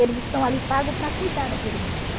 Eles estão ali pagos para cuidar daquele menino.